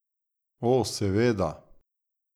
O, seveda.